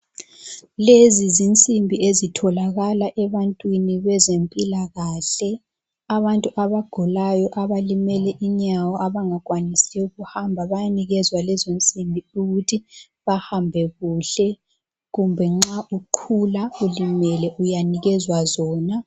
Lezi zinsimbi ezitholakala ebantwini bezempilakahle. Abantu abagulayo abalimele inyawo abangakwanisiyo ukuhamba bayanikezwa lezo nsimbi ukuthi bahambe kuhle kumbe nxa uqhula ulimele uyanikezwa zona.